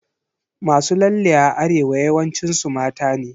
Masu lalle a Arewa yawancin su mata ne.